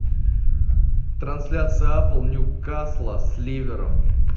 трансляция апл ньюкасла с ливером